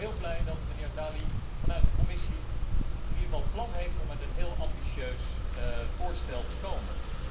Ik ben dan ook heel blij dat de heer Dalli vanuit de Commissie het plan heeft om met een heel ambitieus voorstel te komen.